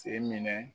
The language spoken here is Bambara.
Se minɛ